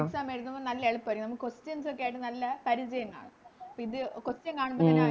Exam എഴുതുമ്പോ നല്ല എളുപ്പാരിക്കും നമുക്ക് Questions ഒക്കെയായിട്ട് നല്ല പരിചയം കാണും ഇപ്പിത് Question കാണുമ്പത്തേനും